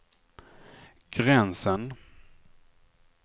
gränsen